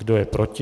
Kdo je proti?